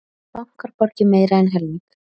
Bankar borgi meira en helming